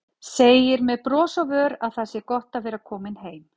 Segir með brosi á vör að það sé gott að vera komin heim.